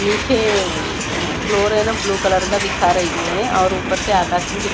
नीचे अ फ्लोर है ना ब्लू कलर का दिखा रही है और ऊपर से आकाश भी दि--